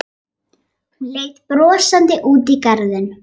Hún leit brosandi út í garðinn.